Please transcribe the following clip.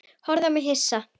Horfði á mig hissa.